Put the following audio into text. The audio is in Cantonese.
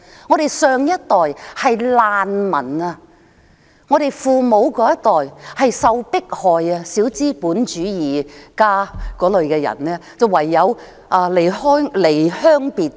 "我們父母上一代是難民，他們受到迫害，被批小資本主義，唯有離鄉背井。